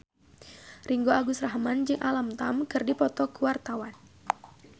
Ringgo Agus Rahman jeung Alam Tam keur dipoto ku wartawan